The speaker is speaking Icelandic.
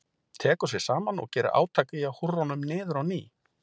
Tekur sig saman og gerir átak í að húrra honum niður á ný.